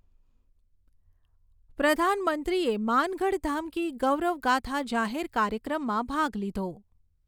પ્રધાનમંત્રીએ માનગઢધામ કી ગૌરવ ગાથા જાહેર કાર્યક્રમમાં ભાગ લીધો